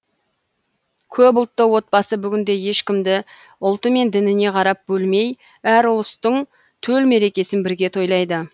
көпұлтты отбасы бүгінде ешкімді ұлты мен дініне қарап бөлмей әр ұлыстың төл мерекесін бірге тойлайды